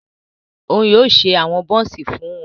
O yóò ṣe awọn buns fún wọn